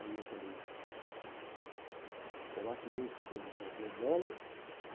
Aí eu falei, será que eu que estou envolvendo ela? Né?